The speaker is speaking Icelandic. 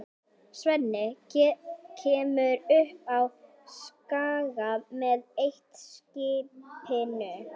Svenni kemur upp á Skaga með eitt-skipinu.